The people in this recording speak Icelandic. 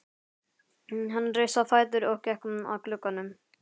Hann reis á fætur og gekk að glugganum.